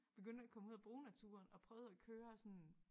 Begyndte at komme ud og bruge naturen og prøvede at køre sådan